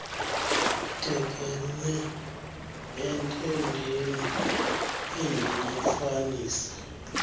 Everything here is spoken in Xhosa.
thekenee entendeni endiyifanisa